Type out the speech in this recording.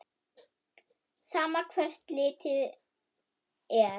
Sama hvert litið er.